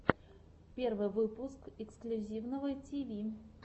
первый выпуск эксклюзивного тиви